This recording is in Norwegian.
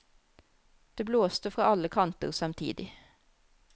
Det blåste fra alle kanter samtidig.